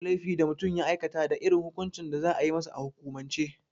Ko wane laifi da mutum ya aikata da irin hukuncin da za a yi masa a hukumance.